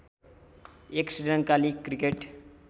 एक श्रीलङ्काली क्रिकेट